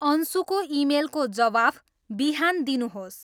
अन्सुको इमेलको जवाफ बिहान दिनुहोस्